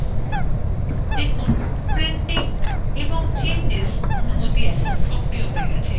দেখুন printing এবং চেঞ্জেসঅনুমতি এখন সক্রিয় হয়ে গেছে